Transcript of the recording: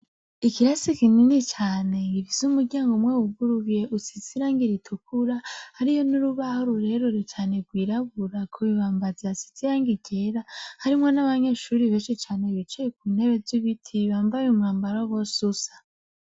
Ikirasi kinini cane gifise umuryango umwe wuguruye usize irangi ritukura hariyo n'urubaho rurerure cane rwirabura ku bibambazi hasize irangi ryera harimwo n'abanyeshure benshi cane bicaye kuntebe zibiti bambaye umwambaro bose usa.